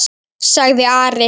sagði Ari.